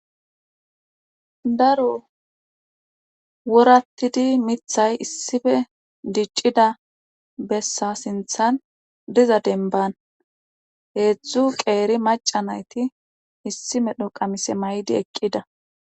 daro worattidi mithay issife diccida bessa sinthan diza denban heedzdzu qeeri maca nayti issi medho qamise may7di eqqida